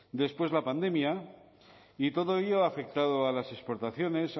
después la pandemia y todo ello ha afectado a las exportaciones